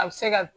A bɛ se ka